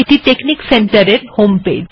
এটি technic centre এর homepage